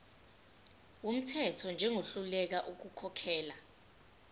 wumthetho njengohluleka ukukhokhela